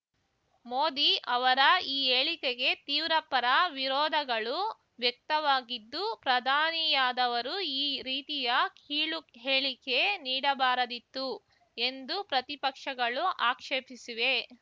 ಮೋದಿ ಅವರ ಈ ಹೇಳಿಕೆಗೆ ತೀವ್ರ ಪರವಿರೋಧಗಳು ವ್ಯಕ್ತವಾಗಿದ್ದು ಪ್ರಧಾನಿಯಾದವರು ಈ ರೀತಿಯ ಕೀಳುಹೇಳಿಕೆ ನೀಡಬಾರದಿತ್ತು ಎಂದು ಪ್ರತಿಪಕ್ಷಗಳು ಆಕ್ಷೇಪಿಸಿವೆ